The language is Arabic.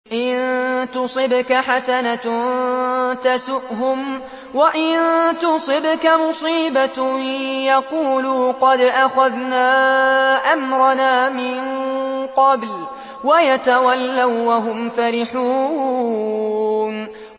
إِن تُصِبْكَ حَسَنَةٌ تَسُؤْهُمْ ۖ وَإِن تُصِبْكَ مُصِيبَةٌ يَقُولُوا قَدْ أَخَذْنَا أَمْرَنَا مِن قَبْلُ وَيَتَوَلَّوا وَّهُمْ فَرِحُونَ